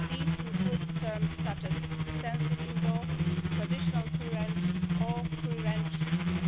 These include terms such as extensive indoor', traditional free range' and